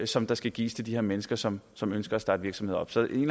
som der skal gives til de her mennesker som som ønsker at starte virksomhed op så en